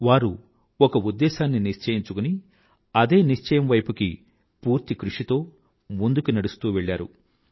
వారు ఒక ఉద్దేశాన్ని నిశ్చయించుకుని అదే నిశ్చయం వైపుకి పూర్తి కృషితో ముందుకు నడుస్తూ వెళ్ళారు